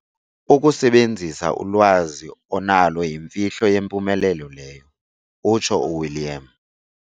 "Ukusebenzisa ulwazi onalo yimfihlo yempumelelo leyo", utsho uWilliam.